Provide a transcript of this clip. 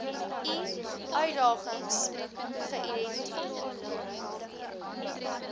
i uitdagings geïdenti